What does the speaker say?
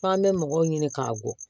F'an bɛ mɔgɔw ɲini k'a bɔ